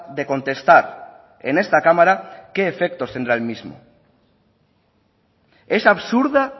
de contestar en esta cámara qué efectos tendrá el mismo es absurda